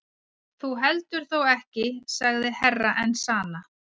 Þú heldur þó ekki sagði Herra Enzana.